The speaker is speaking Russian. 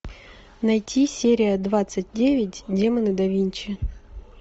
найти серия двадцать девять демоны да винчи